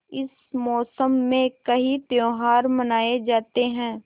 इस मौसम में कई त्यौहार मनाये जाते हैं